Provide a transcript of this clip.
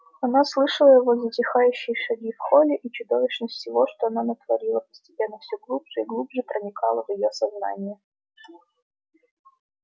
она слышала его затихающие шаги в холле и чудовищность всего что она натворила постепенно все глубже и глубже проникала в её сознание